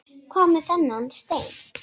Hvað með þennan stein?